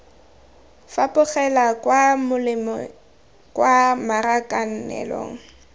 fapogela kwa molemeng kwa marakanelong